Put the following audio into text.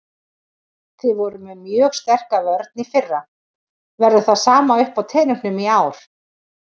Þið voruð með mjög sterka vörn í fyrra, verður það sama uppá teningnum í ár?